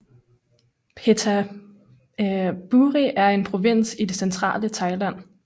Phetchaburi er en provins i det centrale Thailand